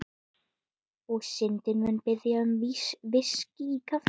Og Syndin mun biðja um VISKÍ í kaffið.